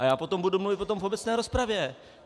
A já potom budu mluvit o tom v obecné rozpravě.